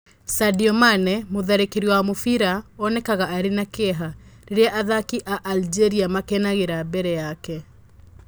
Sadio Mane, mũtharĩkĩri wa mũbira, onekaga arĩ na kĩeha. Rĩrĩa athaki a Algeria makenagira mbere yake.